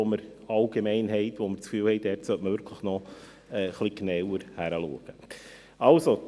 Wir haben den Eindruck, dass man dort genauer hinschauen sollte.